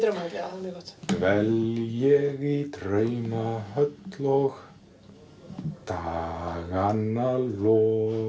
í draumahöll og dagana lofa